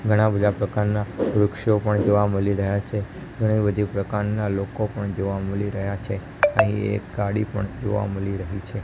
ઘણા બધા પ્રકારના વૃક્ષો પણ જોવા મલી રહ્યા છે ઘણી બધી પ્રકારના લોકો પણ જોવા મલી રહ્યા છે અહીં એક ગાડી પણ જોવા મલી રહી છે.